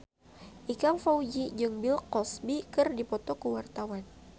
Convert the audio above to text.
Ikang Fawzi jeung Bill Cosby keur dipoto ku wartawan